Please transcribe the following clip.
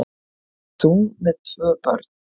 Þú með tvö börn!